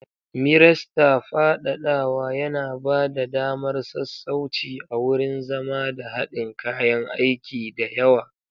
Miresta fadadawa yana ba da damar sassauci a wurin zama da haɗin kayan aiki da yawa.